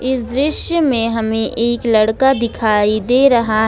इस दृश्य में हमें एक लड़का दिखाई दे रहा--